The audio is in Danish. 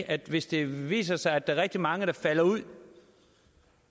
at hvis det viser sig at der er rigtig mange der falder ud